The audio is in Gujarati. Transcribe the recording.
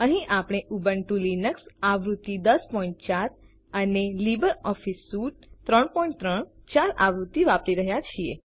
અહીં આપણે ઉબુન્ટુ લિનક્સ આવૃત્તિ 1004 અને લિબ્રિઓફિસ સ્યુટ 334 આવૃત્તિ વાપરી રહ્યા છીએ